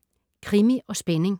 Krimi & spænding